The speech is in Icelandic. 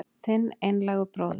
Þinn einlægur bróðir